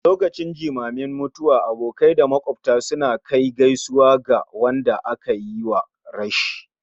lokacin jimamin mutuwa abokai da makwabta suna kai gaisuwa ga wadanda aka yiwa rashi